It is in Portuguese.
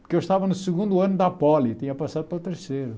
Porque eu estava no segundo ano da poli, tinha passado para o terceiro.